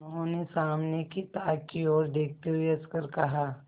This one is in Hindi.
उन्होंने सामने की ताक की ओर देखते हुए हंसकर कहा